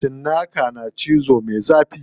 Cinnaka na cizo me zafi.